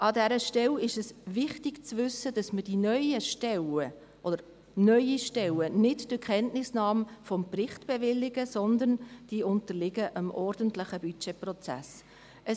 An dieser Stelle ist wichtig zu wissen, dass wir die neuen Stellen, oder neue Stellen, nicht durch Kenntnisnahme des Berichts bewilligen, sondern dass sie dem ordentlichen Budgetprozess unterliegen.